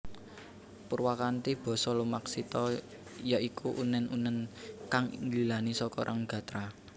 Purwakanthi basa lumaksita ya iku unèn unèn kang nggilani saka rong gatra